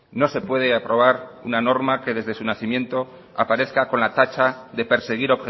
no se puede aprobar una norma que desde su nacimiento aparezca con la tacha de perseguir